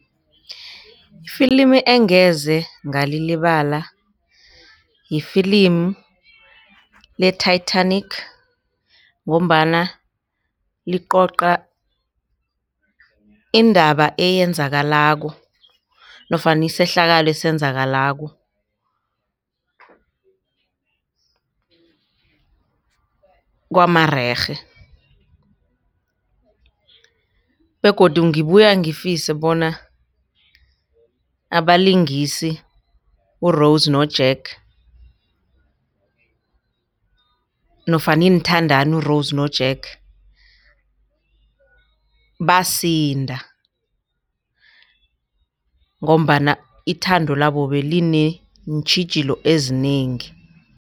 Ifilimu engeze ngalilibala yifilimu le-Titanic ngombana licoca indaba eyenzakalako nofana isehlakalo esenzakalako kwamarerhe begodu ngibuya ngifisa bona abalingisi uRose noJack nofana iinthandani uRose noJack basinda ngombana ithando labo belineentjhijilo ezinengi.